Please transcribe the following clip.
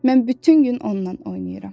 mən bütün gün onunla oynayıram.